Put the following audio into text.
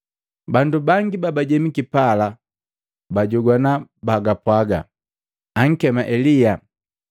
Bandu bangi babajemiki pala bala pabajogwana bapwaga, “Ankema Elia.”